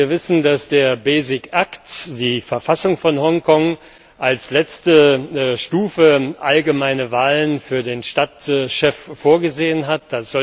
Wir wissen, dass der Basic Act die Verfassung von Hongkong, als letzte Stufe allgemeine Wahlen für den Stadtchef vorgesehen hat.